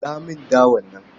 Niƙa mini dawar nan.